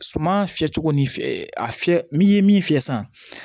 Suman fiyɛ cogo ni a fiyɛ n'i ye min fiyɛ sisan